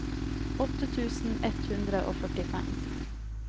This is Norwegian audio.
åtte tusen ett hundre og førtifem